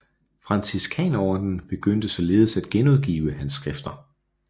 Franciskanerordenen begyndte således at genudgive hans skrifter